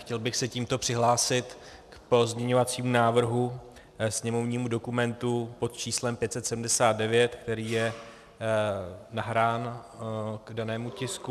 Chtěl bych se tímto přihlásit k pozměňovacímu návrhu, sněmovnímu dokumentu pod číslem 579, který je nahrán k danému tisku.